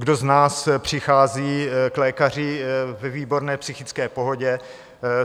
Kdo z nás přichází k lékaři ve výborné psychické pohodě?